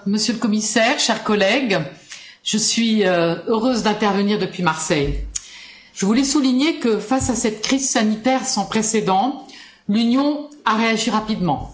Madame la Présidente, Monsieur le Commissaire, chers collègues, je suis heureuse d'intervenir depuis Marseille. Je voulais souligner que, face à cette crise sanitaire sans précédent, l'Union a réagi rapidement.